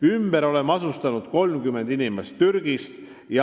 Ümber oleme asustanud 30 inimest Türgist.